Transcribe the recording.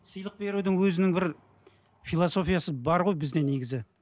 сыйлық берудің өзінің бір философиясы бар ғой бізде негізі